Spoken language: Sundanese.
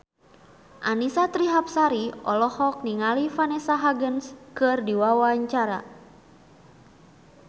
Annisa Trihapsari olohok ningali Vanessa Hudgens keur diwawancara